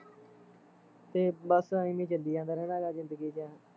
ਤੇ ਬਸ ਅਵੇ ਚਲੀ ਜਾਂਦਾ ਰਹਿਨਾ ਗਾ ਜ਼ਿੰਦਗੀ ਚ